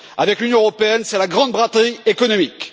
Avec l'Union européenne, c'est la grande braderie économique.